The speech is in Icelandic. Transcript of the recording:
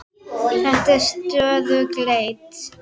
Þetta er stöðug leit!